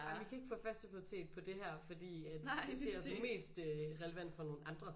Jamen I kan ikke få første prioritet på det her fordi at det det altså mest øh relevant for nogle andre